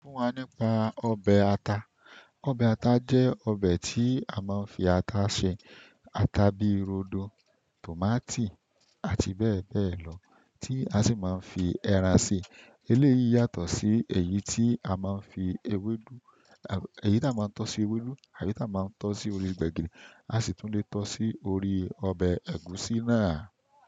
Sọ fún wa nípa ọbẹ̀ ata. Ọbẹ̀ ata jẹ́ ọbẹ̀ tí a máa ń fi ata ṣe. Ata bíi rodo, tòmátì àti bẹ́ẹ̀ bẹ́ẹ̀ lọ tí a sì máa ń fi ẹran si. Eléyìí yàtọ̀ sí èyí tí a máa ń fi ewédú, èyí tí a máa ń tọ́ sí ewédú, àti tí a máa ń tọ́ sí orí gbẹ̀gìrì. A sì tún lè tọ́ sí orí ọbẹ̀ ẹ̀gúsí náà.